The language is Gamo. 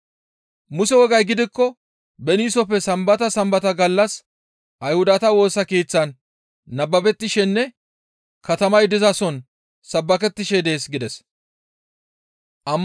Muse wogay gidikko beniisofe Sambata Sambata gallas Ayhudata Woosa Keeththan nababettishenne katamay dizason sabbakettishe dees» gides.